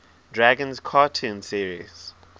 dragons cartoon series